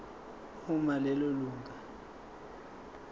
uma lelo lunga